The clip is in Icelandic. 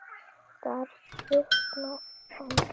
Þar svitnar hann.